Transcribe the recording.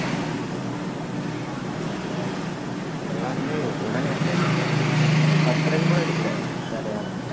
எல்லாருமே உடனே out ஆயிட்டாங்க பத்து run கூட அடிக்கலை வேற யாரும்